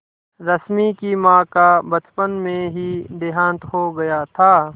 रश्मि की माँ का बचपन में ही देहांत हो गया था